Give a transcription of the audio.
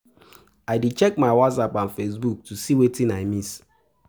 I dey check my whatsapp and facebook to see wetin i miss.